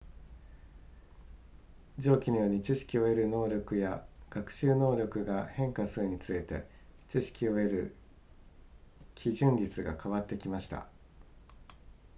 上記のように知識を得る能力や学習能力が変化するにつれて知識を得る基準率が変わってきました